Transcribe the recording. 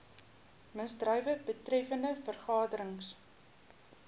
misdrywe betreffende vergaderings